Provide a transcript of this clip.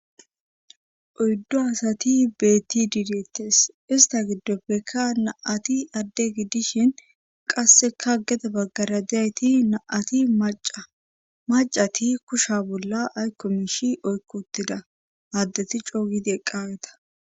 oyddo asati beetti diideettes ista giddoppekka naati adde giddishin qasseka geda baggara deayti naati maca macati kusha bolla aykkomishi oykkottida addeti cooygidi eqqaweta